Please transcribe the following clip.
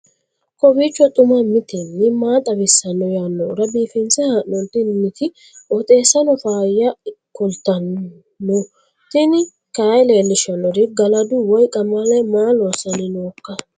kowiicho xuma mtini maa xawissanno yaannohura biifinse haa'noonniti qooxeessano faayya kultanno tini kayi leellishshannori galadu woy qamale maa loossanni nooika